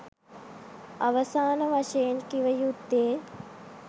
අවසාන වශයෙන් කිව යුත්තේ